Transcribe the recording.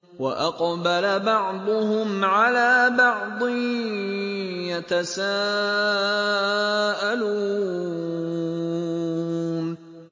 وَأَقْبَلَ بَعْضُهُمْ عَلَىٰ بَعْضٍ يَتَسَاءَلُونَ